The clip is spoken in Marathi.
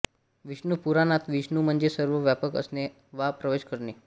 विष्णुपुराणात विष्णु म्हणजे सर्व व्यापक असणे वा प्रवेश करणे